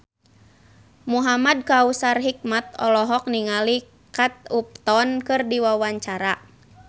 Muhamad Kautsar Hikmat olohok ningali Kate Upton keur diwawancara